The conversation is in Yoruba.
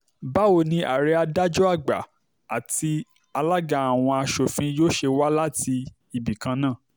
báwo ni ààrẹ adájọ́ àgbà àti alága àwọn aṣòfin yóò ṣe wá láti ibìkan náà